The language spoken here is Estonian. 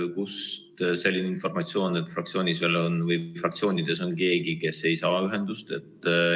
Kust selline informatsioon, et fraktsioonides on veel keegi, kes ei saa ühendust?